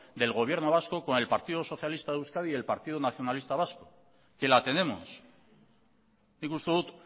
del gobierno vasco con el partido socialista de euskadi y el partido nacionalista vasco que la tenemos nik uste dut